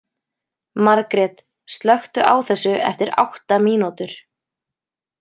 Margret, slökktu á þessu eftir átta mínútur.